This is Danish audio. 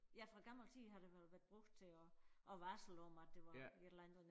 Ja fra gammel tid har det vel været brugt til og og varsel om at det var et eller andet